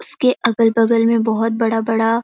उसके अगल - बगल में बहुत बड़ा - बड़ा --